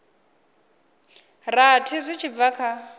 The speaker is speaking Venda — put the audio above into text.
rathi zwi tshi bva kha